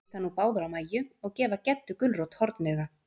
Þær líta nú báðar á Mæju, og gefa Geddu gulrót hornauga.